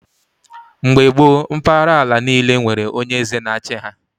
Mgbe gboo mpahara ala niile were onye eze na-achi ha